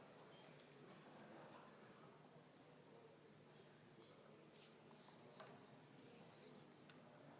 Palun tuua hääletamiskast saali.